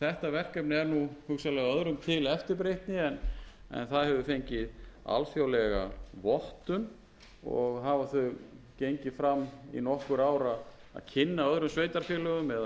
verkefni er nú hugsanlega öðrum til eftirbreytni en það hefur fengið alþjóðlega vottun og hafa þau gengið fram í nokkur ár að kynna öðrum sveitarfélögum eða